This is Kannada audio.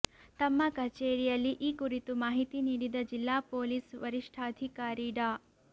ತಮ್ಮ ಕಚೇರಿಯಲ್ಲಿ ಈ ಕುರಿತು ಮಾಹಿತಿ ನೀಡಿದ ಜಿಲ್ಲಾ ಪೊಲೀಸ್ ವರಿಷ್ಠಾಧಿಕಾರಿ ಡಾ